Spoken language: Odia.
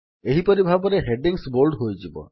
ଏହିପରି ଭାବେ ହେଡିଙ୍ଗ୍ସ ବୋଲ୍ଡ ହୋଇଯିବ